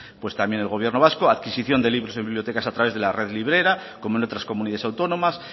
el gobierno vasco adquisición de libros en bibliotecas a través de la red librera como en otras comunidades autónomas